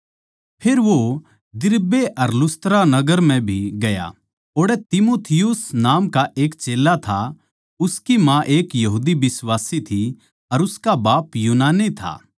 फेर वो दिरबे अर लुस्त्रा नगर म्ह भी गया ओड़ै तीमुथियुस नाम का एक चेल्ला था उसकी माँ एक यहूदी बिश्वासी थी पर उसका बाप यूनानी था